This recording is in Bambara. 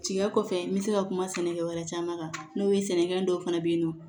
Tiga kɔfɛ n bɛ se ka kuma sɛnɛkɛ wɛrɛ caman kan n'o ye sɛnɛkɛfɛn dɔw fana bɛ yen nɔ